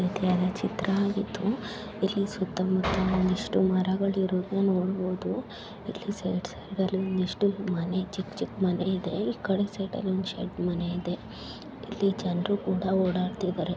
ಚಿತ್ರ ಆಗಿದ್ದು ಇಲ್ಲಿ ಸುತ್ತ ಮುತ್ತ ಒಂದಿಷ್ಟು ಮರಗಳು ಇರೋದನ್ನ ನೋಡ್ಬಹುದು ಇಲ್ಲಿ ಸೈಡ್ ಸೈಡ್ ಅಲ್ಲಿ ಒಂದಿಷ್ಟು ಮನೆ ಚಿಕ್ಕ ಚಿಕ್ಕ ಮನೆ ಇದೆ ಇಕಡೆ ಸೈಡ್ ಅಲ್ಲಿ ಒಂದ್ ಶೆಡ್ ಮನೆ ಇದೆ ಇಲ್ಲಿ ಜನ್ರು ಕೂಡ ಹೊಡಾಡ್ತಿದ್ದಾರೆ.